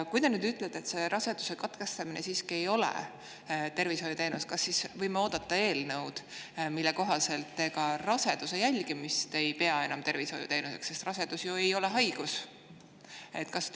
Kui te nüüd ütlete, et raseduse katkestamine siiski ei ole tervishoiuteenus, siis kas me võime oodata eelnõu, mille kohaselt te ka raseduse jälgimist ei pea enam tervishoiuteenuseks, sest rasedus ei ole ju haigus?